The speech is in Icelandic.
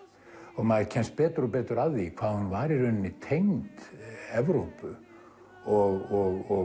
og maður kemst betur og betur að því hvað hún var í rauninni tengd Evrópu og